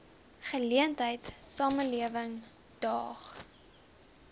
geleentheid samelewing daag